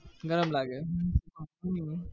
નાં લાગે હમ હમ